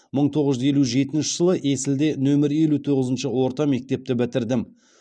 мың тоғыз жүз елу жетінші жылы есілде нөмір елу тоғызыншы орта мектепті бітірдім